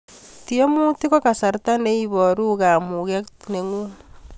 Tiemutik ko kasarta ne iporu kamuket nengung